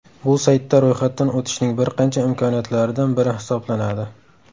Bu saytda ro‘yxatdan o‘tishning bir qancha imkoniyatlaridan biri hisoblanadi.